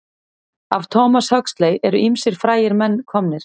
Af Thomas Huxley eru ýmsir frægir menn komnir.